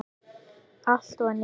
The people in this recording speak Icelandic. Allt var nýtt.